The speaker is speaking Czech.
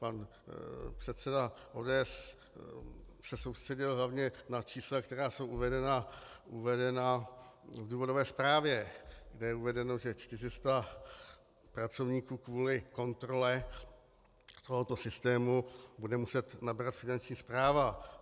Pan předseda ODS se soustředil hlavně na čísla, která jsou uvedena v důvodové zprávě, kde je uvedeno, že 400 pracovníků kvůli kontrole tohoto systému bude muset nabrat Finanční správa.